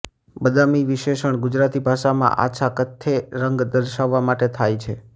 બદામી વિષેશણ ગુજરાતી ભાષામાં આછા કથ્થૈ રંગ દર્શાવવા માટે થાય છે